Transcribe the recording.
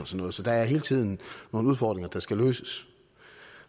noget så der er hele tiden nogle udfordringer der skal løses